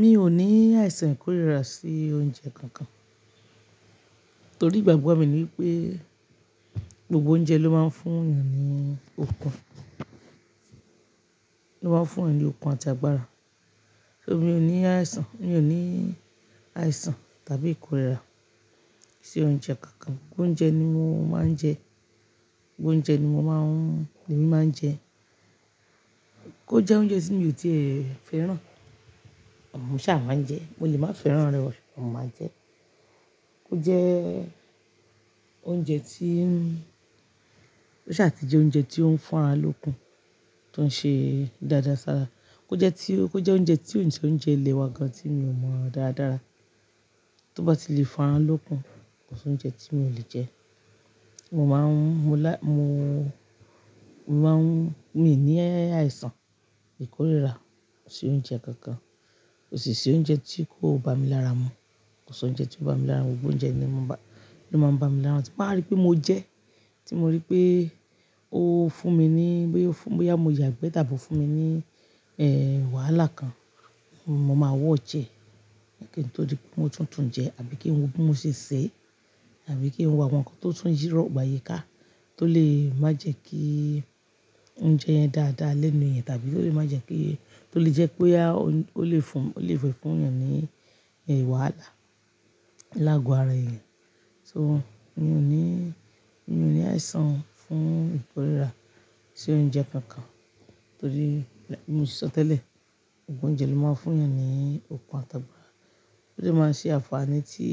Mi ò ní àìsàn ìkórìíra sí oúnjẹ kankan. Torí ìgbàgbọ́ mi ni wipé gbogbo oúnjẹ ló máa ń fún ènìyàn ní okun, ló máa ń fún ènìyàn ní okun àti agbára. Só mi ò ní àìsàn, mi ò ní àìsàn tàbí ìkórìíra sí oúnjẹ kankan. Gbogbo oúnjẹ ni mo máa ń jẹ. Gbogbo oúnjẹ ni mo máa ń, lèmí máa ń jẹ. Kó jẹ́ oúnjẹ tí mi ò tíe fẹ́ràn, mo ṣà máa jẹ ẹ́. Mo lè má fẹ́ràn rẹ̀ o, mo máa jẹ ẹ́. Kó jẹ́ oúnjẹ tí, ó ṣà ti jẹ́ oúnjẹ tí ó ń fún ara lókun tó ń ṣe dáadáa sára. Kó jẹ́ tí ó, kó jẹ́ oúnjẹ tí òun se oúnjẹ ilẹ́ wà gan tí mi ò mọ dáadáa. Tí ó bá ti lè fún ara lókun, kò sí oúnjẹ tí mi ò lè jẹ. Mo máa ń, mo lá, mo, mo máa ń, mi ò ní àìsàn ìkórìíra sí oúnjẹ kankan. Kò sì sí oúnjẹ tí kò bá mi lára mu. Kò sí oúnjẹ tí kò bá mi lára mu. Gbogbo oúnjẹ ni o máa ń bá, ni ó máa ń bá mi lára mu. Tí n bá wa rí pé mo jẹ ẹ́, tí mo rí pé ó fún mi ní, bóyá mo yàgbẹ́ tàbí ó fún mi ní, eh, wàhálà kan, mo máa watch ẹ́. Kí n to dí pé mo tún tùńjẹ ẹ́ àbí kí n wo bí mo ṣe sè é, àbí kí n wo àwọn nǹkan tó tún yí rọ̀gbà yíi ká tó lè má jẹ́ kí oúnjẹ yẹn dá dá lénu eeyan tàbí tó lè má jẹ́ kí, tó lè jẹ́ pé, ó lè fún, ó lè fé fún ènìyàn ní, wàhálà lágo ara ènìyàn. So, mi ò ní, mi ò ní àìsàn fún ìkórìíra sí oúnjẹ kankan torí bí mo ṣe sọ tẹ́lẹ̀, gbogbo oúnjẹ ló máa ń fún ènìyàn ní okun àti agbára. Ó sì máa ń ṣé àǹfààní tí,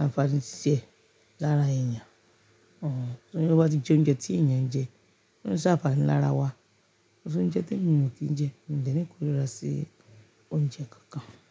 àǹfààní tiẹ̀ lára ènìyàn. Hm. Torí bí ó bá ti jẹ́ oúnjẹ tí ènìyàn ń jẹ, ó lè ṣe àǹfààní lára wa. Kò sí oúnjẹ temi ò kì n jẹ. Mi ò dẹ́ ní ìkórìíra sí oúnjẹ kankan.